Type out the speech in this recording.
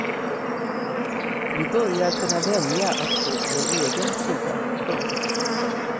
Vi börjar kunna välja att stå på vår egen sida. punkt